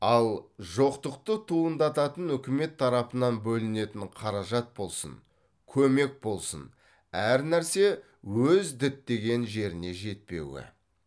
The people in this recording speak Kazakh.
ал жоқтықты туындататын үкімет тарапынан бөлінетін қаражат болсын көмек болсын әр нерсе өз діттеген жеріне жетпеуі